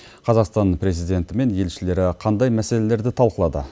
қазақстан президенті мен елшілері қандай мәселелерді талқылады